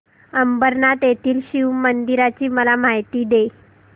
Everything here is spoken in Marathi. अंबरनाथ येथील शिवमंदिराची मला माहिती दे